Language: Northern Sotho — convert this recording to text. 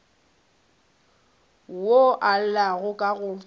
wo o llago ka go